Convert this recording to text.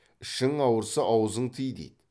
ішің ауырса аузың тый дейді